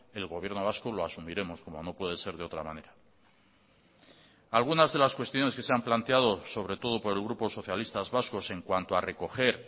el gobierno vasco lo asumiremos como no puede ser de otra manera algunas de las cuestiones que se han planteado sobre todo por el grupo socialistas vascos en cuanto a recoger